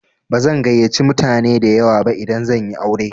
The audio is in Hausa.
Bazan gayyace mutane dayawa ba idan zan yi aure.